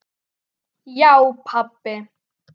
Já pabbi.